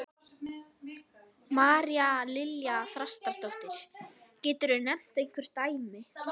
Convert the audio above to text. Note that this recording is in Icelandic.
María Lilja Þrastardóttir: Getur þú nefnt einhver dæmi?